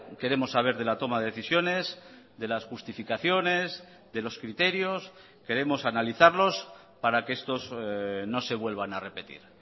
queremos saber de la toma de decisiones de las justificaciones de los criterios queremos analizarlos para que estos no se vuelvan a repetir